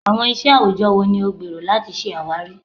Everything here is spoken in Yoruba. Awọn iṣẹ awujọ wo ni o gbero lati ṣawari?